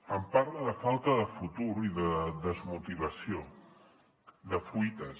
em parla de falta de futur i de desmotivació de fuites